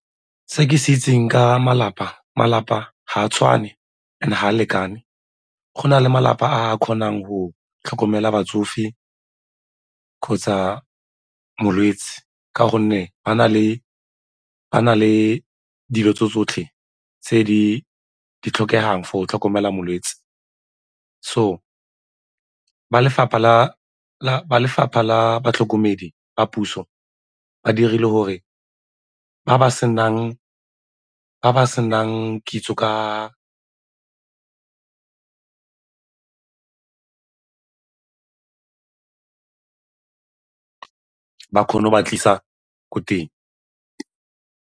Se ke se itseng ka malapa, malapa ga a tshwane and-e ga a lekane. Go na le malapa a a kgonang go tlhokomela batsofe kgotsa molwetse ka gonne ba na le dilo tse tsotlhe tse di tlhokegang for go tlhokomela molwetse, so ba lefapha la batlhokomedi ba puso ba dirile gore ba ba senang kitso ka ba kgone go ba tlisa ko teng.